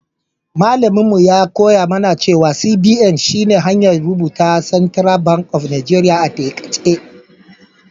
Mallaminmu ya koya mana cewa CBN shi ne hanyar rubuta Central bank of Nigeria a taƙaice.